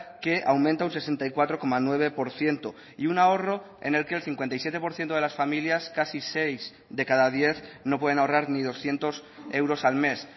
que aumenta un sesenta y cuatro coma nueve por ciento y un ahorro en el que el cincuenta y siete por ciento de las familias casi seis de cada diez no pueden ahorrar ni doscientos euros al mes